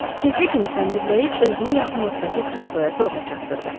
Keyfli kimi səndirləyib özünü yaxınlıqdakı kresloya zorla çatdırdı.